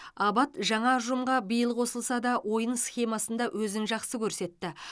абат жаңа ұжымға биыл қосылса да ойын схемасында өзін жақсы көрсетті